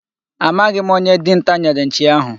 Amaghị m onye dinta nyere nchi ahụ.